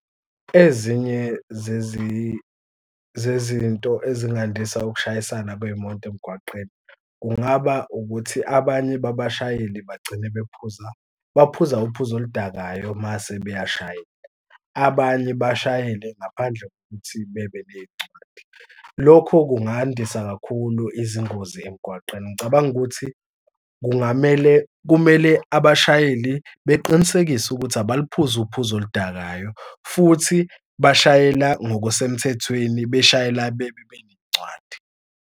Ezinye zezinto ezingafundisa ukushayisana kwey'moto emgwaqeni kungaba abanye babashayeli bagcine bephuza baphuza uphuzo oludakayo mase beyashayeka. Abanye bashayele ngaphandle kokuthi bebe ney'ncwadi. Lokho kungandisa kakhulu izingozi emgwaqeni. Ngicabanga ukuthi kungamele kumele abashayeli beqinisekise ukuthi abaliphuzi uphuzo oludakayo futhi bashayela ngokusemthethweni beshayela bebe beney'ncwadi.